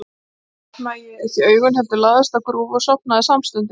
Þá opnaði ég ekki augun, heldur lagðist á grúfu og sofnaði samstundis.